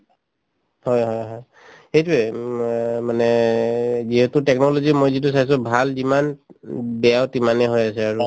হয় হয় হয় সেইটোয়ে উম অ মানে যিহেতু technology মই যিটো চাইছো ভাল যিমান উম বেয়াও তিমানে হৈ আছে আৰু